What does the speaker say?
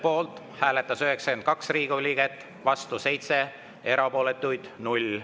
Poolt hääletas 92 Riigikogu liiget, vastu 7, erapooletuks jäi 0.